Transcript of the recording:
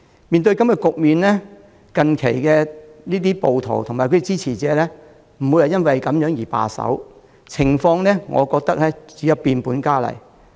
面對這種局面，暴徒及其支持者並不會因此而罷手，我認為情況只會變本加厲。